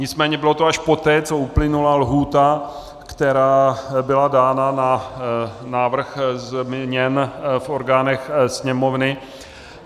Nicméně bylo to až poté, co uplynula lhůta, která byla dána na návrh změn v orgánech Sněmovny.